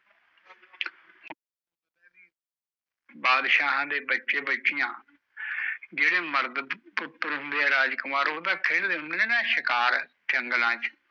ਬਾਦਸ਼ਾ ਦੇ ਬਚੇ ਬੱਚਿਆਂ ਜੇਡੇ ਉਪਰ ਹੁੰਦੇ ਆ ਰਾਜਕੁਮਾਰ ਖੇਲ ਦੇ ਹੁੰਦੇ ਆ ਸ਼ਿਕਾਰ ਜੰਗਲਾਂ ਚ